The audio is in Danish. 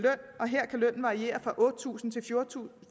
og her kan lønnen variere fra otte tusind til